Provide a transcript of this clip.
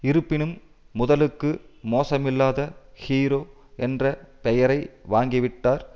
இருப்பினும் முதலுக்கு மோசமில்லாத ஹீரோ என்ற பெயரை வாங்கிவிட்டார்